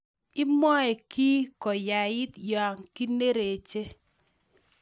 Imwoe kiy koyait ya kiinerech